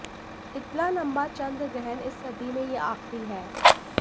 इतना लंबा चंद्रग्रहण इस सदी में ये आखिरी है